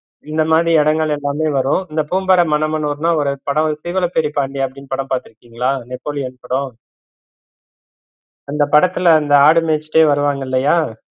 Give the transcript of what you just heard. இந்த மாதிரி இடங்கள் எல்லாமே வரும் இந்த பூம்பாரை, மன்னமனூர்னா ஒரு படம் சீவலபேரிபாண்டி அப்படின்னு படம் பத்துரிகீங்களா நெப்போலியன் படம் அந்த படத்துல அந்த ஆடு மேச்சுட்டே வருவாங்கள்ளயா